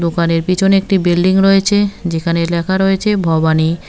দোকানের পিছনে একটি বিল্ডিং রয়েছে যেখানে লেখা রয়েছে ভবানী।